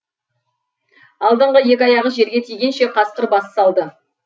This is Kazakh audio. алдыңғы екі аяғы жерге тигенше қасқыр бас салды